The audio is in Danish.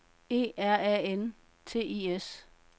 E R A N T I S